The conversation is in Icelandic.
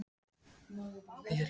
En þetta er allt í lagi núna.